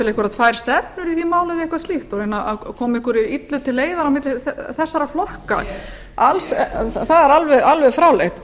einhverjar tvær stefnur í því máli eða eitthvað slíkt að reyna að koma einhverju illu til leiðar á milli þessara flokka það er alveg fráleitt